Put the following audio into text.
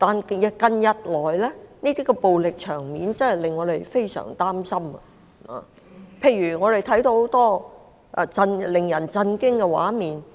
然而，近日來的暴力場面，真的令我們非常擔心，尤其在看到許多令人震驚的畫面時。